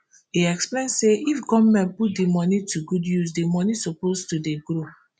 im explain say if goment put di money to good use di money suppose to dey grow